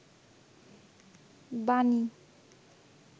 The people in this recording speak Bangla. বানী